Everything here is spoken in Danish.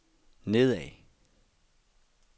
nedad